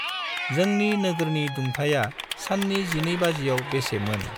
जोंंनि नोगोरनि दुंथाइया साननि जिनै बाजियाव बेसे मोन?